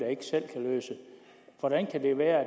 hvordan kan det være at